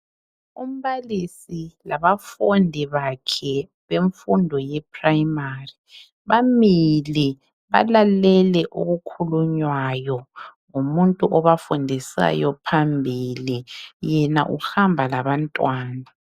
Umbalisi labafundi bakhe bemfundo ye primary bamile balalele okukhulunywayo ngumuntu obafundisayo phambili yena uhamba labantwana.